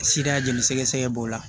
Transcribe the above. Sida jeli sɛgɛsɛgɛ b'o la